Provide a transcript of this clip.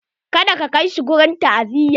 Ka da ka kai shi wurin ta'aziya!